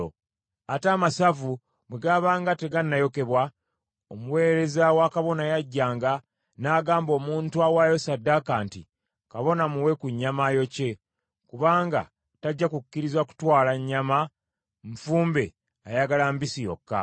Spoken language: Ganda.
Ate amasavu bwe gaabanga tegannayokebwa, omuweereza wa kabona yajjanga n’agamba omuntu awaayo ssaddaaka nti, “Kabona muwe ku nnyama ayokye, kubanga tajja kukkiriza kutwala nnyama nfumbe ayagala mbisi yokka .”